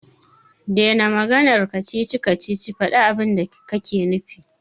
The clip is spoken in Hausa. Dena maganar kacici-kacici, faɗi abinda kake nufi.